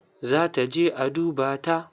Za ta je a dubata.